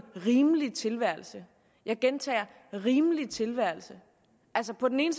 rimelig tilværelse jeg gentager en rimelig tilværelse altså på den ene